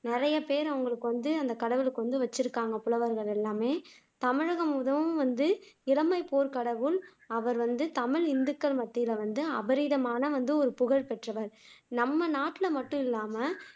நிறைய பெயர் வந்து அந்த கடவுளுக்கு வச்சுருக்காங்க புலவர்கள் எல்லாமே தமிழகம் மிகவும் வந்து கடவுள் அவர் வந்து தமிழ் இந்துக்கள் மத்தியில வந்து அபரிமிதமான ஒரு புகழ் பெற்றவர் நம்ம நாட்டுல மட்டும் இல்லாம